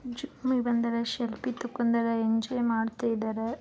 Selfie ತಕ್ಕೋಂಡರೆ enjoy ಮಾಡ್ತಾ ಇದ್ದಾರೆ.